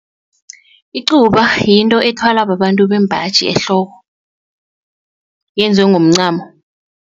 Icuba yinto ethwalwa babantu bembaji ehloko yenziwe ngomncamo.